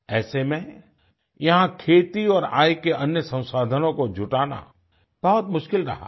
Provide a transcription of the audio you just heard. ऐसे में यहाँ खेती और आय के अन्य संसाधनों को जुटाना बहुत मुश्किल रहा है